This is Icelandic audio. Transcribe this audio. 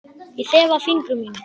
Ég þefa af fingrum mínum.